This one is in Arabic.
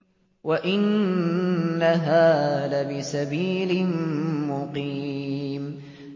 وَإِنَّهَا لَبِسَبِيلٍ مُّقِيمٍ